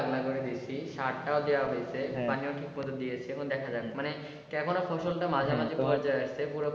আগলা করে দেখি সারটা ও দেওয়া হইছে পানিও ঠিক করে দিয়েছে এখন দেখা যাক মানে কেবলা ফসল টা মাঝামাঝি পুরো,